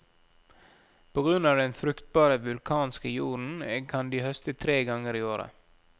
På grunn av den fruktbare vulkanske jorden, kan de høste tre ganger i året.